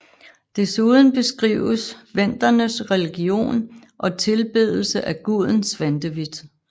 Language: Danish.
Desuden beskrives Vendernes religion og tilbedelse af guden Svantevit